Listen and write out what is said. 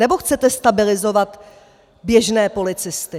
Nebo chcete stabilizovat běžné policisty?